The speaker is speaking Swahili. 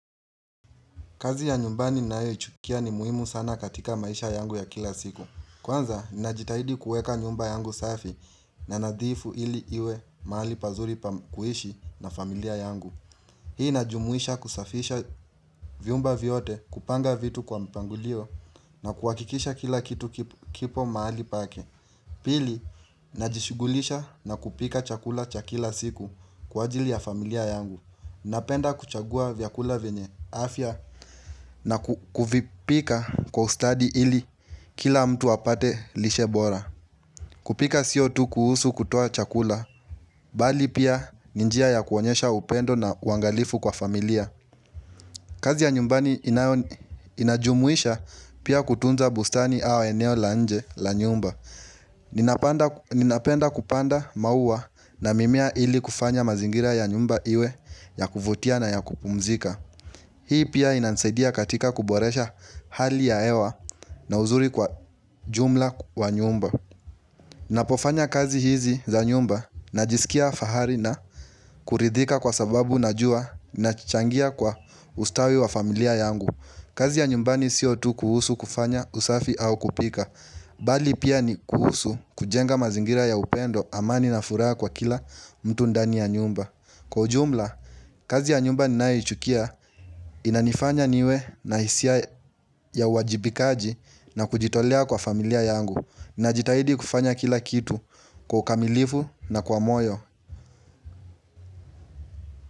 Kazi ya nyumbani na hiyo ichukia ni muhimu sana katika maisha yangu ya kila siku. Kwanza, ninajitahidi kueka nyumba yangu safi na nadhifu ili iwe maali pazuri kuhishi na familia yangu. Hii najumuisha kusafisha vyumba vyote kupanga vitu kwa mpangulio na kuakikisha kila kitu kipo maali pake. Pili, najishugulisha na kupika chakula cha kila siku kwa ajili ya familia yangu. Napenda kuchagua vyakula vyenye afya na kuvipika kwa ustadi ili kila mtu apate lishe bora kupika sio tu kuhusu kutoa chakula, bali pia ni njia ya kuonyesha upendo na uangalifu kwa familia kazi ya nyumbani inajumuisha pia kutunza bustani au eneo la nje la nyumba Ninapenda kupanda maua na mimea ili kufanya mazingira ya nyumba iwe ya kuvutia na ya kupumzika Hii pia inansaidia katika kuboresha hali ya hewa na uzuri kwa jumla wa nyumba Napofanya kazi hizi za nyumba na jisikia fahari na kuridhika kwa sababu na jua na changia kwa ustawi wa familia yangu kazi ya nyumbani sio tu kuhusu kufanya usafi au kupika Bali pia ni kuhusu kujenga mazingira ya upendo amani na furaha kwa kila mtu ndani ya nyumba Kwa ujumla, kazi ya nyumba ninayoichukia inanifanya niwe na hisia ya uwajibikaji na kujitolea kwa familia yangu. Ninajitahidi kufanya kila kitu kwa ukamilifu na kwa moyo.